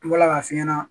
An bɔla ka f'i ɲɛna